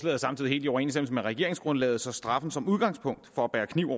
er samtidig helt i overensstemmelse med regeringsgrundlaget så straffen som udgangspunkt for at bære kniv